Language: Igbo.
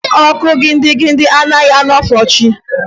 Ọkụ gidigidi adịghị enwufo chi.